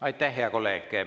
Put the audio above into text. Aitäh, hea kolleeg!